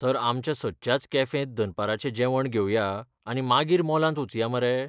तर आमच्या सदच्याच कॅफेंत दनपाराचें जेवण घेवया आनी मागीर मॉलांत वचुया मरे?